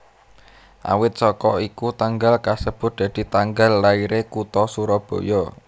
Awit saka iku tanggal kasebut dadi tanggal lairé kutha Surabaya